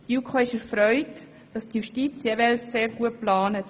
Die JuKo ist erfreut, dass die Justiz jeweils sehr gut plant.